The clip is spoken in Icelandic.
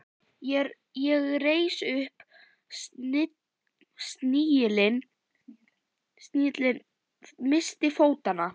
Ég reis upp, snigillinn missti fótanna.